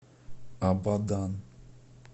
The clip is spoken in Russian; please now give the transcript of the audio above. абадан